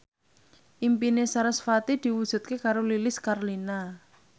impine sarasvati diwujudke karo Lilis Karlina